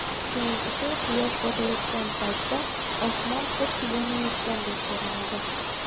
Shuning uchun quyosh botayotgan paytda osmon xuddi yonayotgandek ko‘rinadi.